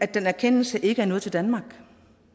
den erkendelse ikke er nået til danmark